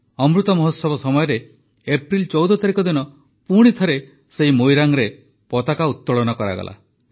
ଅମୃତ ମହୋତ୍ସବ ସମୟରେ ଏପ୍ରିଲ ୧୪ ତାରିଖ ଦିନ ପୁଣି ଥରେ ସେହି ମୋଇରାଙ୍ଗରେ ପତାକା ଉତ୍ତୋଳନ କରାଗଲା